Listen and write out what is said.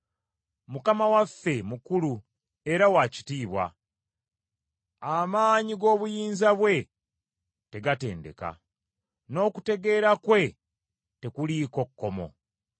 Mukama waffe mukulu era wa kitiibwa; amaanyi g’obuyinza bwe tegatendeka, n’okutegeera kwe tekuliiko kkomo.